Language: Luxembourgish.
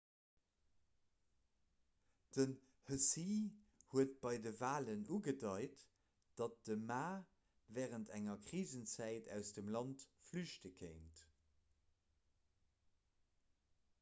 den hsieh huet bei de walen ugedeit datt de ma wärend enger krisenzäit aus dem land flüchte kéint